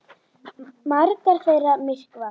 Margar þeirra myrkva.